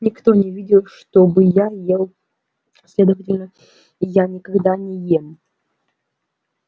никто не видел чтобы я ел следовательно я никогда не ем